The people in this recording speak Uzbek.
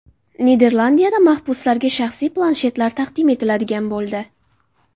Niderlandiyada mahbuslarga shaxsiy planshetlar taqdim etiladigan bo‘ldi.